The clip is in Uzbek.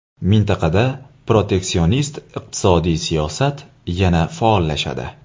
Mintaqada proteksionist iqtisodiy siyosat yana faollashadi.